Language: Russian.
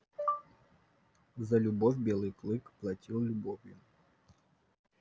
за любовь белый клык платил любовью